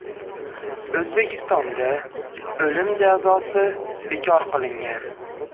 O‘zbekistonda o‘lim jazosi bekor qilingan.